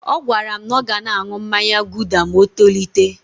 Ọ gwara m na ọ ga na-aṅụ mmanya guuda ma o tolite.